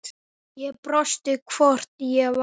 Ég brosti, hvort ég var!